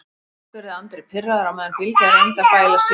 spurði Andri pirraður á meðan Bylgja reyndi að bæla Sif á nýjan leik.